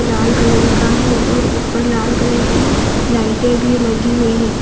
लाल colour का है और ऊपर लाल कलर की लाइटे भी लगी हुई है।